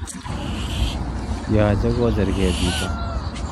Yoche kocherke chito